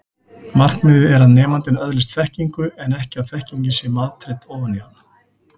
Markmiðið er að nemandinn öðlist þekkingu en ekki að þekkingin sé matreidd ofan í hann.